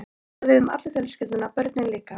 Þetta á við um alla fjölskylduna- börnin líka.